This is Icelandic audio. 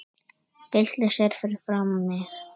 Byltir sér fyrir framan mig.